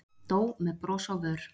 Dó með bros á vör